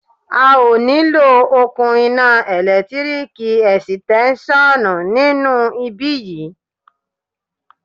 A ó nílò okùn iná ẹ̀lẹ́tíríkì ẹ̀sìtẹ́nṣọ̀ nínú ibí yìí.